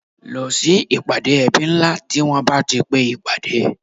Lọ sí ìpàdé ẹbí ńlá tí wọn bá ti pe ìpàdé